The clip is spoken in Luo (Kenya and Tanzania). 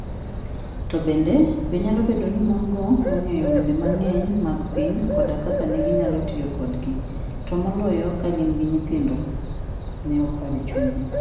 To bende, be nyalo bedo ni mon - go nong'eyo wende mang'eny mag piny koda kaka ne ginyalo tiyo kodgi, to moloyo ka gin gi nyithindo? Ne oparo e chunye.